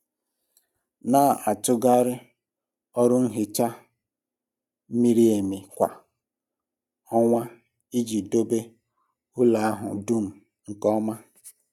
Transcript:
Na-atụgharị ọrụ nhicha miri emi kwa ọnwa iji dobe ụlọ ahụ dum nke ọma.